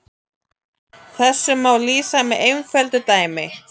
Þessu má lýsa með einföldu dæmi.